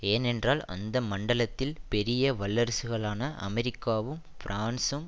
ஏனென்றால் அந்த மண்டலத்தில் பெரிய வல்லரசுகளான அமெரிக்காவும் பிரான்சும்